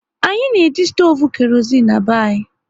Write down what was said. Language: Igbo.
Anyị na eji stoovu kerozein na-be anyị